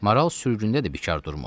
Maral sürgündə də bikar durmur.